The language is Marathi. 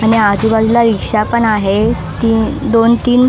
आणि आजूबाजूला रिक्षा पण आहे ती दोन तीन --